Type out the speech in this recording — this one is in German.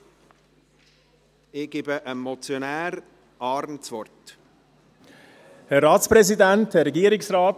Ich gebe dem Motionär, Grossrat Arn, das Wort.